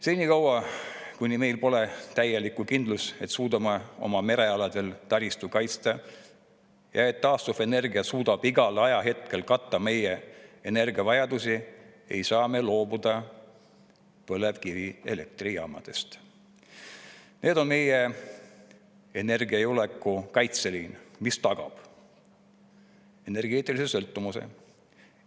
Senikaua, kuni meil pole täielikku kindlust, et suudame oma merealadel taristut kaitsta ja et taastuvenergia suudab igal ajahetkel katta meie energiavajadusi, ei saa me loobuda põlevkivielektrijaamadest – need on meie energiajulgeoleku kaitseliin, mis tagab energeetilise sõltumatuse.